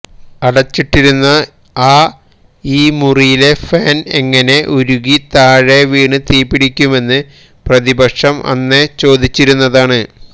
അടച്ചിട്ടിരുന്ന അഇ മുറിയിലെ ഫാന് എങ്ങനെ ഉരുകി താഴെ വീണ് തീപിടിക്കുമെന്ന് പ്രതിപക്ഷം അന്നേ ചോദിച്ചിരുന്നതാണ്